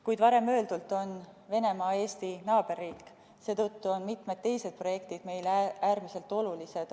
Kuid, nagu varem öeldud, Venemaa on Eesti naaberriik, seetõttu on mitmed teised projektid meile äärmiselt olulised.